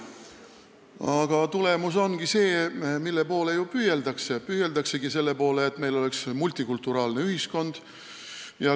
Tulemus ongi see, mille poole püüeldakse – et meil oleks multikulturaalne ühiskond.